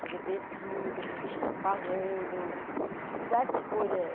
Fazer pesquisa, que nem vocês estão fazendo, estudar essas coisas eh.